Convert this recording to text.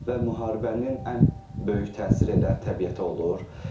Və müharibənin ən böyük təsiri elə təbiətə olur.